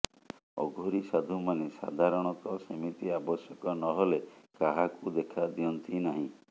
ଅଘୋରୀ ସାଧୁମାନେ ସାଦାରଣତଃ ସେମିତି ଆବଶ୍ୟକ ନହେଲେ କାହାକୁ ଦେଖା ଦିଅନ୍ତି ନାହିଁ